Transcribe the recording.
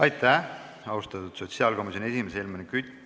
Aitäh, austatud sotsiaalkomisjoni esimees Helmen Kütt!